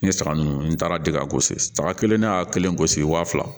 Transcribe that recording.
N ye saga ninnu n taara dikagosi saraka kelen ne y'a kelen gosi waa fila